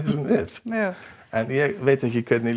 þessum vef en ég veit ekki hvernig